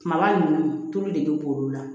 Kumaba ninnu tulu de bɛ b'olu la